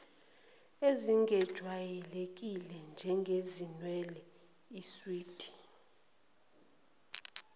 ezingejwayelekile njengezinwele iswidi